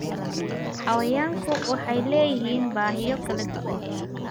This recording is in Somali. Xayawaanku waxay leeyihiin baahiyo kala duwan.